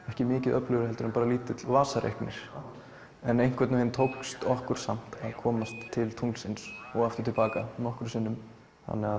ekki mikið öflugri en lítill vasareiknir en einhvern veginn tókst okkur samt að komast til tunglsins og til baka nokkrum sinnum þannig að